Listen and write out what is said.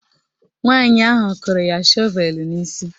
Nwaanyị ahụ kụrụ ya shọvelu n'isi